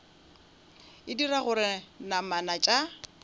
e dira gore namana tša